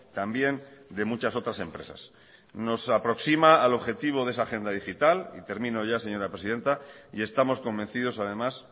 también de muchas otras empresas nos aproxima al objetivo de esa agenda digital y termino ya señora presidenta y estamos convencidos además